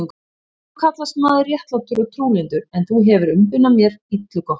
Þú kallast maður réttlátur og trúlyndur, en þú hefir umbunað mér illu gott.